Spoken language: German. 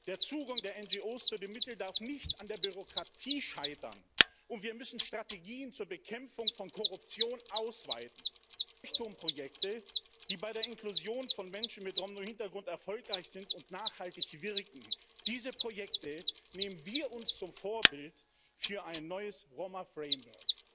Der Zugang der NGO zu den Mitteln darf nicht an der Bürokratie scheitern, und wir müssen Strategien zur Bekämpfung von Korruption ausweiten. Leuchtturmprojekte, die bei der Inklusion von Menschen mit Roma Hintergrund erfolgreich sind und nachhaltig wirken, diese Projekte nehmen wir uns zum Vorbild für ein neues Roma Framework